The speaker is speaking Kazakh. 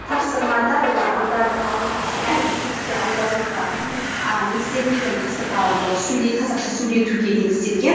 тапсырмада олар аударым әрбір сөзді аударуға мхм а негізделмеген тапсырмалар қазақша сөйлетуге негізделген